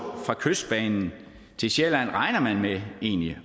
fra kystbanen til sjælland regner man egentlig